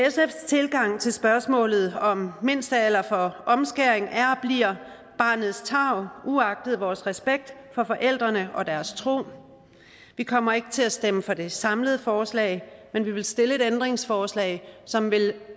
tilgang til spørgsmålet om mindstealder for omskæring er og bliver barnets tarv uagtet vores respekt for forældrene og deres tro vi kommer ikke til at stemme for det samlede forslag men vi vil stille et ændringsforslag som